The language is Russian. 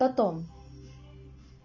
потом